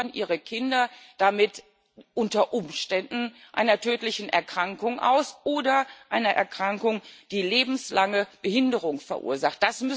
Sie liefern ihre Kinder damit unter Umständen einer tödlichen Erkrankung aus oder einer Erkrankung, die lebenslange Behinderung verursacht.